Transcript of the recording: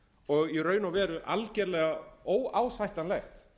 og í raun og veru algerlega óásættanlegt